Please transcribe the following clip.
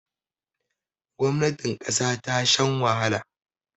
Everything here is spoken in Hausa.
gwamnatin kasa ta shan wahala